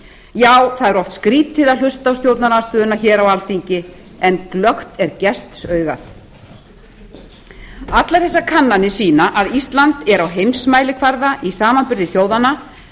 já það er oft skrýtið að hlusta á stjórnarandstöðuna hér á alþingi en glöggt er gestsaugað allar þessar kannanir sýna að ísland er á heimsmælikvarða í samanburði þjóðanna